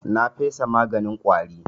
Na fesa maganin ƙwari.